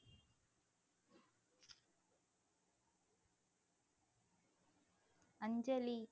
அஞ்சலி